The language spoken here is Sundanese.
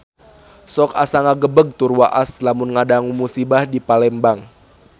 Sok asa ngagebeg tur waas lamun ngadangu musibah di Palembang